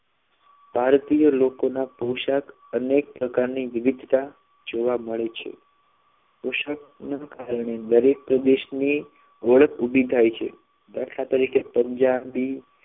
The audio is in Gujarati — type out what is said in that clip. ભારતના પોષાકમાં અનેક પ્રકારની વિવિધતા જોવા મળે છે પોશાક ના કારણે દરેક પ્રદેશની ઓળખ ઊભી થાય છે દાખલા તરીકે પંજાબી